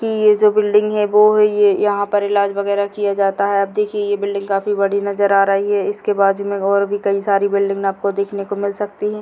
यह जो बिल्डिंग हैं वो यहां पर इलाज वगैरा किया जाता है आप देखिए यह बिल्डिंग काफी बड़ी नज़रआ रही हैं इसके पास कई सारी बिल्डिंग देखने को मिल सकती हैं।